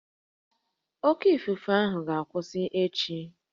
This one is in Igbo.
Oké ifufe ahụ ga-akwụsị echi